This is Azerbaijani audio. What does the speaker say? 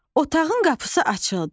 Otağın qapısı açıldı.